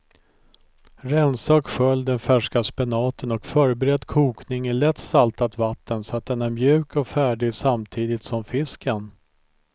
Rensa och skölj den färska spenaten och förbered kokning i lätt saltat vatten så att den är mjuk och färdig samtidigt som fisken.